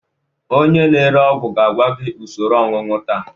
Onye na-ere ọgwụ ga-agwa gị usoro onunu taa